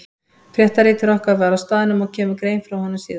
Fréttaritari okkar var á staðnum og kemur grein frá honum síðar.